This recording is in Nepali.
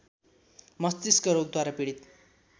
मष्तिस्क रोगद्वारा पीडित